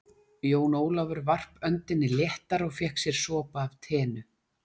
Jón Ólafur varp öndinni léttar og fékk sér sopa af teinu.